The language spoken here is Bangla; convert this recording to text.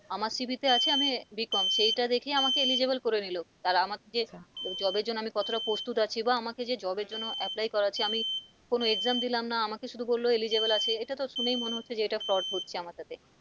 আমার CV তে আছে আমি আহ bcom সেটা দেখেই আমাকে eligible করে নিল তাহলে আমার যে job এর জন্য আমি কতটা প্রস্তুত আছি বা আমাকে যে job এর জন্য apply করাচ্ছে আমি কোন exam দিলাম না আমাকে শুধু বললো eligible আছে এটা তো শুনেই মনে হচ্ছে যে এটা তো fraud হচ্ছে আমার সাথে।